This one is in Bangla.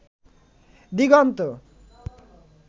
দিগন্ত